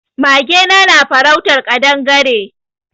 Magena na farautar kaɗangare.